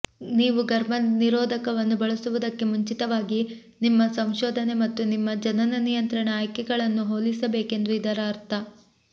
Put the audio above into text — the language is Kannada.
ನೀವು ಗರ್ಭನಿರೋಧಕವನ್ನು ಬಳಸುವುದಕ್ಕೆ ಮುಂಚಿತವಾಗಿ ನಿಮ್ಮ ಸಂಶೋಧನೆ ಮತ್ತು ನಿಮ್ಮ ಜನನ ನಿಯಂತ್ರಣ ಆಯ್ಕೆಗಳನ್ನು ಹೋಲಿಸಬೇಕೆಂದು ಇದರ ಅರ್ಥ